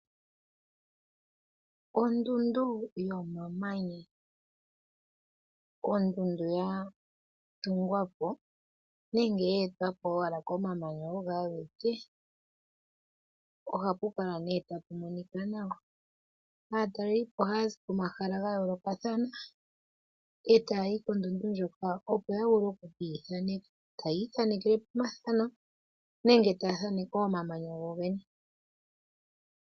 Ondundu yomamanya, ondundu yatungwa po nenge ye e twa po komamanya owala ogo a ge ke. Ohapu kala nee ta pu monika nawa, aataleliipo ohaya zi komahala gayoolokathana e taya yikondundu ndjoka opo ya vule okwiithaaneka, taya ithaanekelepo omathano nenge taya thaaneke omamanya gogene.